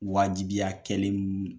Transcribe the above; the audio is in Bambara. Wajibiya kɛlen min